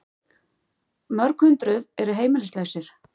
Mörg hundruð eru heimilislausir